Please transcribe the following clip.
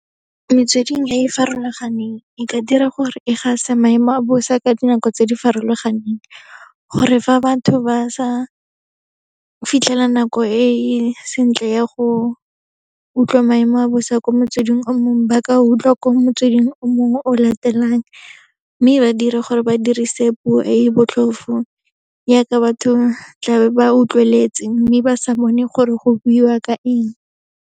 Metsweding e e farologaneng, e ka dira gore e gase maemo a bosa ka dinako tse di farologaneng, gore fa batho ba sa fitlhela nako e e sentle ya go utlwa maemo a bosa ko motsweding o mongwe, ba ka utlwa ko motsweding o mongwe o latelang. Mme ba dire gore ba dirise puo e e botlhofo yaaka batho tla be ba utlweletse, mme ba sa bone gore go buiwa ka eng.